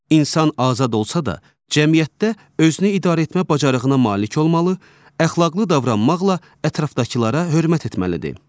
İnsan azad olsa da, cəmiyyətdə özünü idarəetmə bacarığına malik olmalı, əxlaqlı davranmaqla ətrafdakılara hörmət etməlidir.